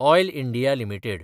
oil India limited